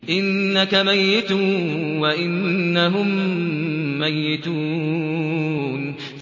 إِنَّكَ مَيِّتٌ وَإِنَّهُم مَّيِّتُونَ